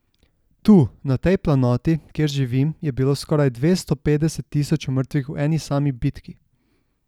Tu, na tej planoti, kjer živim, je bilo skoraj dvesto petdeset tisoč mrtvih v eni sami bitki.